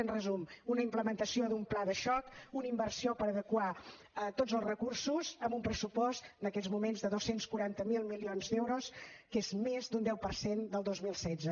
en resum una implementació d’un pla de xoc una inversió per adequar tots els recursos amb un pressupost en aquests moments de dos cents i quaranta miler milions d’euros que és més d’un deu per cent del dos mil setze